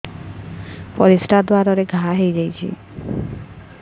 ପରିଶ୍ରା ଦ୍ୱାର ରେ ଘା ହେଇଯାଇଛି